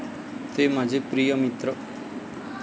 ते माझे प्रिय मित्र